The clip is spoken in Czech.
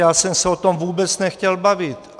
Já jsem se o tom vůbec nechtěl bavit.